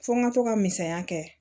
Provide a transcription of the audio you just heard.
Fo n ka to ka misaliya kɛ